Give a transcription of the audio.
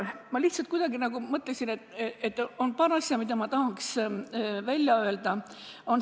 Ma lihtsalt kuidagi nagu mõtlesin, et on paar asja, mida ma tahaks öelda.